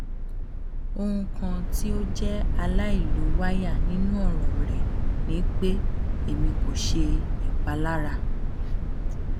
ohun kan ti o jẹ alailowaya ninu ọran rẹ ni pe emi ko ṣe ipalara